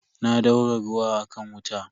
Na daura ruwa a kan wuta.